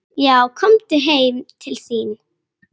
Já, komum heim til þín.